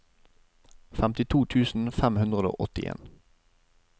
femtito tusen fem hundre og åttien